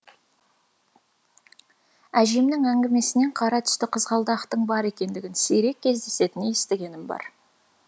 әжемнің әңгімесінен қара түсті қызғалдақтың бар екендігін сирек кездесетінін естігенім бар